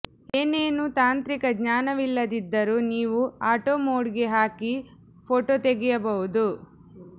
ಏನೇನೂ ತಾಂತ್ರಿಕ ಜ್ಞಾನವಿಲ್ಲದಿದ್ದರೂ ನೀವು ಆಟೊ ಮೋಡ್ಗೆ ಹಾಕಿ ಫೋಟೊ ತೆಗೆಯಬಹುದು